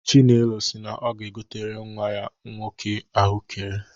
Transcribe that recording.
Chinelo si na ọ ga-egotere nnwa ya nwoke ahụekere.